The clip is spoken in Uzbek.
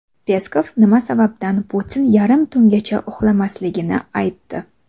Peskov nima sababdan Putin yarim tungacha uxlamasligini aytdi.